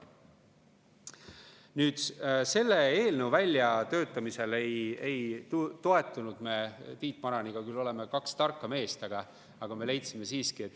Nüüd, selle eelnõu väljatöötamisel ei toetunud me Tiit Maraniga, kuigi oleme küll kaks tarka meest,.